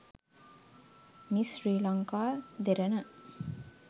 miss sri lanka derana